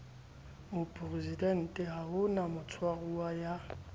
moporesidenteha ho na motshwaruwa ya